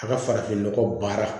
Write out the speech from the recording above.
A ka farafinnɔgɔ baara